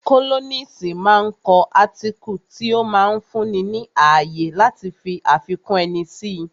Kólọ́nisi máa ń kọ átíkù tí ó máa ń fún ni ní ààyè láti fi àfikún ẹni si